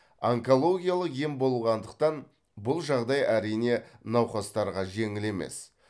онкологиялық ем болғандықтан бұл жағдай әрине науқастарға жеңіл емес